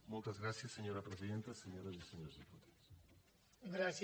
moltes gràcies senyora presidenta senyores i senyors diputats